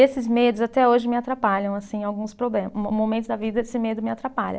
Esses medos até hoje me atrapalham, assim, em alguns problemas, mo momentos da vida esse medo me atrapalha.